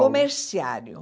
Comerciário.